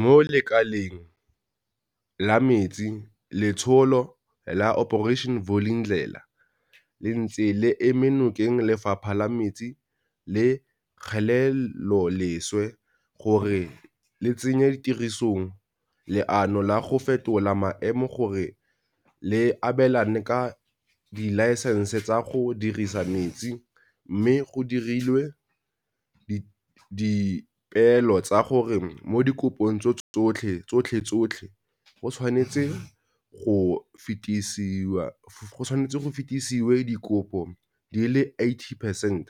Mo lekaleng la metsi, letsholo la Operation Vulindlela le ntse le eme nokeng Lefapha la Metsi le Kgeleloleswe gore le tsenye tirisong leano la go fetola maemo gore le abelane ka dilaesense tsa go dirisa metse, mme go dirilwe dipeelo tsa gore mo dikopong tsotlhetsotlhe go tshwanetswe go fetisiwe dikopo di le 80 percent